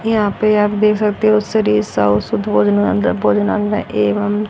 यहां पे आप देख सकते हो एवं--